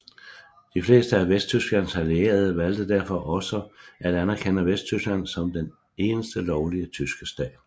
De fleste af Vesttysklands allierede valgte derfor også at anerkende Vesttyskland som den eneste lovlige tyske stat